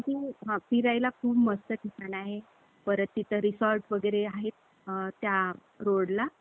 ए, माझा आवाज यायलाय काय?